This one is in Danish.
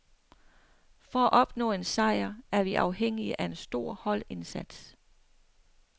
For at opnå en sejr er vi afhængige af en stor holdindsats.